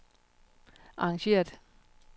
arrangeret